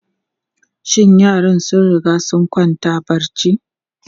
Shin yaran sun riga sun kwanta barci?